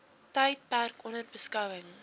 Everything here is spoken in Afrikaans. tydperk onder beskouing